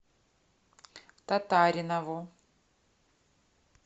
татаринову